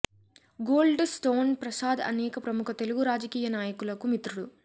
gold stone Prasad అనేక ప్రముఖ తెలుగు రాజకీయ నాయకులకు మిత్రుడు